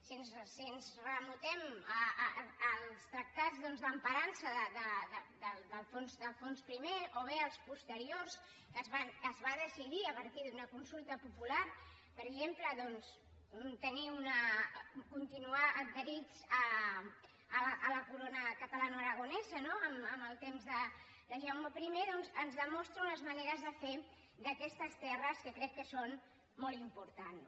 si ens remuntem als tractats doncs d’emparança d’alfons i o bé als posteriors que es va decidir a partir d’una consulta popular per exemple doncs continuar adherits a la corona catalanoaragonesa no en el temps de jaume i ens demostra unes maneres de fer d’aquestes terres que crec que són molt importants